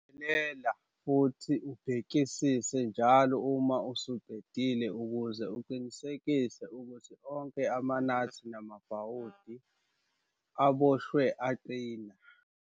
Cophelela futhi ubhekisise njalo uma usuqedile ukuze uqinisekise ukuthi onke amanathi namabhawothi aboshwe aqina.